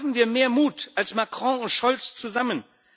Haben wir mehr Mut als Macron und Scholz zusammen!